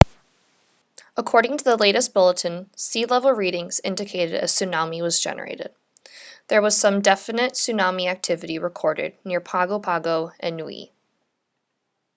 according to the latest bulletin sea level readings indicated a tsunami was generated there was some definite tsunami activity recorded near pago pago and niue